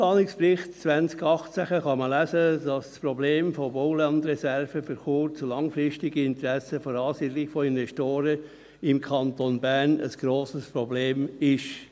Im Raumplanungsbericht 2018 kann man lesen, dass das Problem von Baulandreserven für kurz- und langfristige Interessen für die Ansiedlung von Investoren im Kanton Bern ein grosses Problem ist.